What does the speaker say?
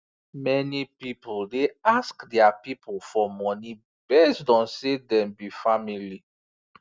many people dey ask their people for money based on say dem be family